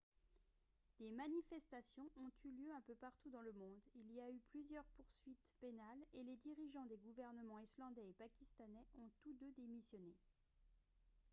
des manifestations ont eu lieu un peu partout dans le monde il y a eu plusieurs poursuites pénales et les dirigeants des gouvernements islandais et pakistanais ont tous deux démissionné